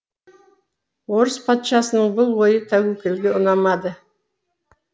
орыс патшасының бұл ойы тәуекелге ұнамады